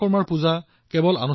আপুনি দক্ষ হোৱাৰ গৌৰৱ কৰা উচিত